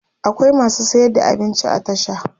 akwai masu sayar da abinci a tasha